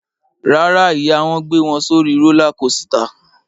Rárá, ìyá wọn gbé wọn sórí rólá kosità.